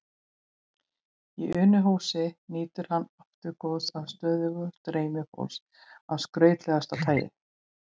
Í Unuhúsi nýtur hann aftur góðs af stöðugu streymi fólks af skrautlegasta tagi.